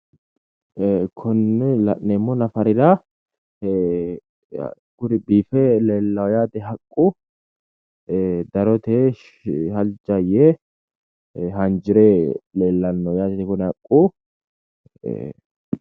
ee konne la'neemmo nafarira ee kuri biife leellaa yaate haqqu ee darote halja yee hanjire leellanno yaate kuni haqqu ee..